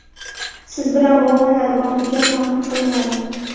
siz bilan bog‘lanadi va hujjat tahrir qilinadi.